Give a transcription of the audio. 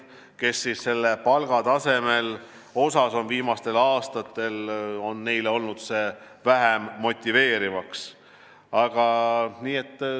Neid on palgatase viimastel aastatel vähem motiveerinud.